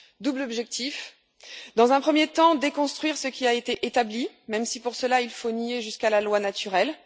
Double objectif dans un premier temps, déconstruire ce qui a été établi, même si, pour cela, il faut nier jusqu'à la loi naturelle